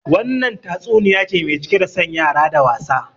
Wannan tatsuniya ce mai cike da son yara da wasa